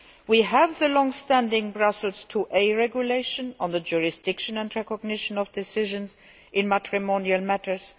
We have the long standing Brussels IIa Regulation on the jurisdiction and recognition of decisions in matrimonial matters